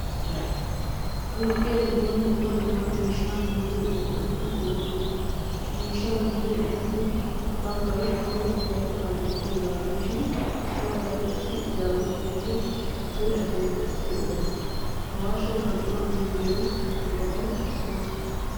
Toophphiyaa giddon dumma dumma miishshaa minjjiyo eqqotatti de'osona. Ha miishshaa minjjiyo eqqotati baggay kawotettay kaalettiyoga gidishin baggay issi izzawu woykko dure asaay essiyo eqqota. Awashe marccuwaa minjjo eqqotay issuwaa.